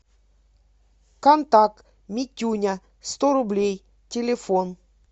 контакт митюня сто рублей телефон